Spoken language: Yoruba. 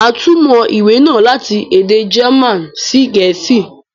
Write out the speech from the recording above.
Màá túmọ̀ ìwé náà láti èdè German sí Gẹ̀ẹ̀sìí